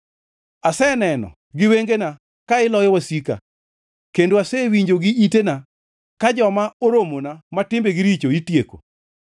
Aseneno gi wengena ka iloyo wasika kendo asewinjo gi itena ka joma oramona ma timbegi richo itieko.